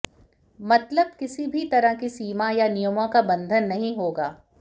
मतलब किसी भी तरह की सीमा या नियमों का बंधन नहीं होगा